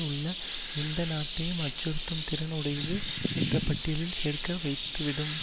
உள்ள எந்த நாட்டையும் அச்சுறுத்தும் திறன் உடையது என்ற பட்டியலில் சேர்க்க வைத்துவிடும்